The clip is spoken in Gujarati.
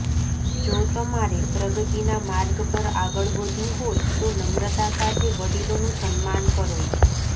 જો તમારે પ્રગતિના માર્ગ પર આગળ વધવું હોય તો નમ્રતા સાથે વડીલોનું સન્માન કરો